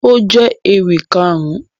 Ó jẹ́ ewì Kàrún